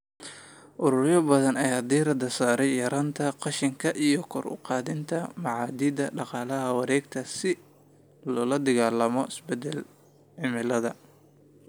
Ururo badan ayaa diiradda saaraya yaraynta qashinka iyo kor u qaadida mabaadi'da dhaqaalaha wareegtada ah si loola dagaallamo isbedelka cimilada.